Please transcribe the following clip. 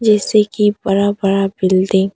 जैसे कि बड़ा बड़ा बिल्डिंग --